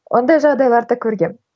ондай жағдайларды көргенмін